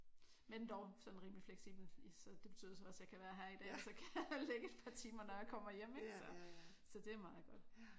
Men dog sådan rimeligt fleksibelt. Det betyder så også at jeg kan være her i dag og så kan jeg lægge et par timer når jeg kommer hjem ik så? Så det er meget godt